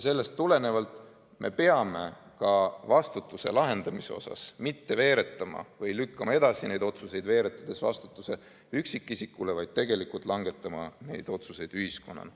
Sellest tulenevalt me ei tohi vastutuse üle otsustades veeretada vastutust üksikisikutele, vaid peame langetama otsuseid ühiskonnana.